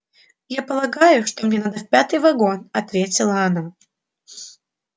я полагаю что мне надо в пятый вагон ответила она